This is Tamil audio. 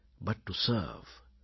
but to serve